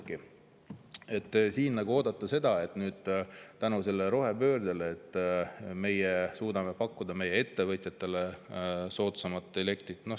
oodata seda, et tänu rohepöördele me suudame nüüd pakkuda ettevõtjatele soodsamat elektrit.